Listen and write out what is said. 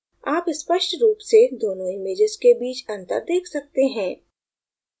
आप स्पष्ट रूप से दोनों images के बीच अंतर देख सकते हैं